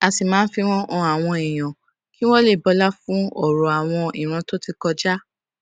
a sì máa ń fi wón han àwọn èèyàn kí wón lè bọlá fún òrò àwọn ìran tó ti kọjá